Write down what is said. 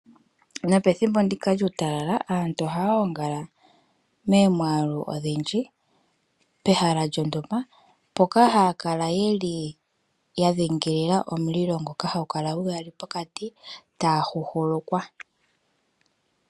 Nopethimbo ndika lyuutalala aantu oha ya gongala momwaalu ogundji pehala lyontumba. Mpoka ha ya kala yeli ya dhingilila omulilo ngoka hagu kala gu yali pokati taya huhulukwa.